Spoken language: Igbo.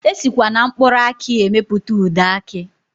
Esikwa na mkpụrụ aki emepụta ude aki.